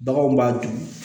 Baganw b'a dun